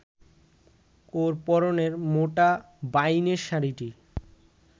ওর পরনের মোটা বাইনের শাড়িটি